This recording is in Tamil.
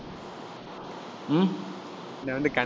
நான் வந்து கண்~